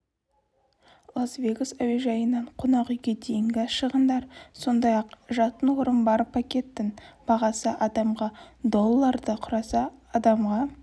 лас-вегас әуежайынан қонақүйге дейінгі шығындар сондай-ақ жатын орын бар пакеттің бағасы адамға долларды құраса адамға